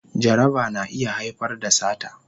Jaraba na iya haifar da sata